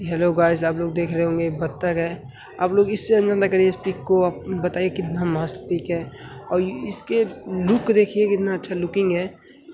Hello guys आप देख रहै होंगे ये बत्तख है आप लोग इससे अंदाजा करके पिक को बताइये कितना मस्त पिक है और इसका लूक देखीये कितना अच्छा लूकिंग है।